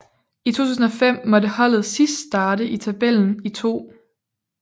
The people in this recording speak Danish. I 2005 måtte holdet sidst starte i tabellen i 2